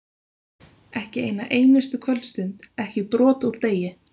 Ekki eina einustu kvöldstund, ekki brot úr degi.